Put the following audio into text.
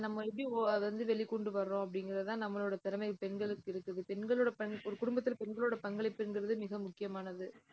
அதை நம்ம எப்படி, ov~ அதை வந்து வெளிக் கொண்டு வர்றோம்? அப்படிங்கிறதுதான் நம்மளோட திறமை, பெண்களுக்கு இருக்குது பெண்களோட பணி ஒரு குடும்பத்துல பெண்களோட பங்களிப்புங்கிறது மிக முக்கியமானது